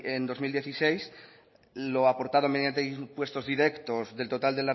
en dos mil dieciséis lo aportado mediante impuestos directos del total